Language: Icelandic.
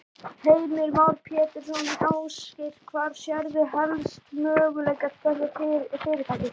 Heimir Már Pétursson: Ásgeir, hvar sérðu helst möguleika þessa fyrirtækis?